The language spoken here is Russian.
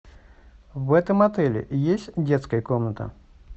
в этом отеле есть детская комната